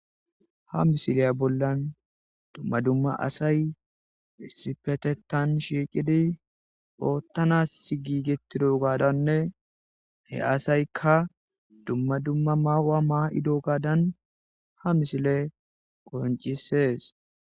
ha misiliya bollan dumma dumma asay issipetetan shiiqidi oottanas gigetidogaadanne he asaykka dumma dumma maawa maa'idogaadan ha misiley qoncisees